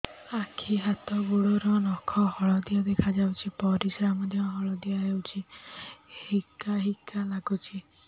ଆଖି ହାତ ଗୋଡ଼ର ନଖ ହଳଦିଆ ଦେଖା ଯାଉଛି ପରିସ୍ରା ମଧ୍ୟ ହଳଦିଆ ହଉଛି ହିକା ହିକା ଲାଗୁଛି